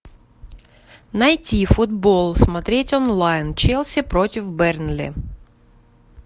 найти футбол смотреть онлайн челси против бернли